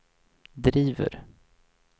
driver